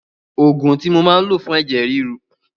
Òògùn tí mo máa ń lò fún ẹ̀jẹ̀ ríru.